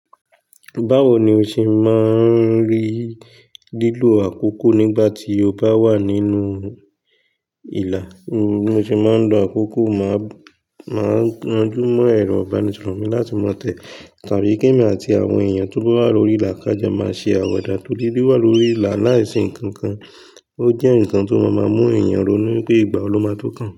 Báwo ni o ṣe máa ń rí lílo àkókò nígbà tí o bá wà nínú ìlà? Bi mo ṣe máa ń lo àkókò, màá máa rań jó mọ́ ẹ̀rọ ìbánisọ̀rọ̀ mi láti má tẹ̀, tàbí kí èmi àti àwọn èèyàn tó bá wà lórí ìlà ká jọ máa ṣe àwada, tori wi wà lórí ìlà láìsí ǹkan kan. Ó jẹ́ ǹkan tó má ma mú èèyàn ronú pé ìgbà ló máa tó kàn.